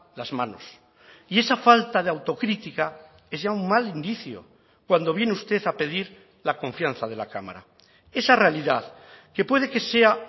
las manos y esa falta de autocrítica es ya un mal inicio cuando viene usted a pedir la confianza de la cámara esa realidad que puede que sea